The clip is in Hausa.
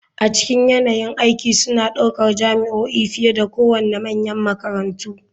A cikin yanayin aiki suna ɗaukar jami'o'i fiye da kowane manyan makarantu.